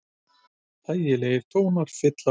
Þægilegir tónar fylla loftið.